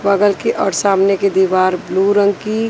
बगल की और सामने की दीवार ब्लू रंग की--